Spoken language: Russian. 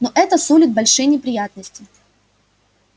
но это сулит большие неприятности